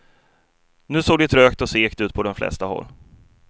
Nu såg det trögt och segt ut på de flesta håll.